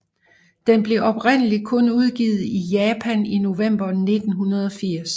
Den blev oprindeligt kun udgivet i Japan i november 1980